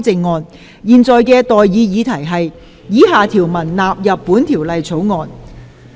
我現在向各位提出的待議議題是：以下條文納入本條例草案。